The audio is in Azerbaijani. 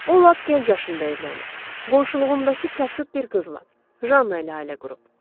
O lap gənc yaşında evlənib, qonşuluğundakı kasıb bir qızla, Janna ilə ailə qurub.